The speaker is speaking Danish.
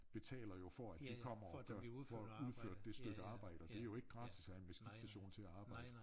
Betaler jo for at vi kommer og gør for at udføre det stykke arbejde og det jo ikke gratis at have en maskinstation til at arbejde